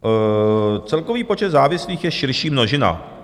Celkový počet závislých je širší množina.